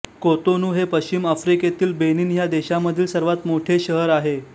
Cotonou हे पश्चिम आफ्रिकेतील बेनिन ह्या देशामधील सर्वात मोठे शहर आहे